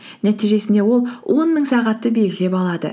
нәтижесінде ол он мың сағатты белгілеп алады